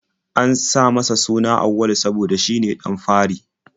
An sa masa suna Auwalu saboda shine ɗan fari.